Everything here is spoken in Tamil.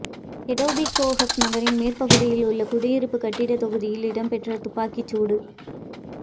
எட்டோபிகோக் நகரின் மேற்கு பகுதியில் உள்ள குடியிருப்பு கட்டிட தொகுதியில் இடம்பெற்ற துப்பாக்கிச் சூட